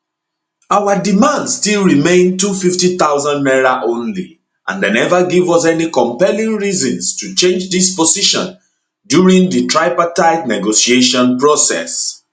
our demand still remain 250000 naira only and dem neva give us any compelling reasons to change dis position during di tripartite negotiation process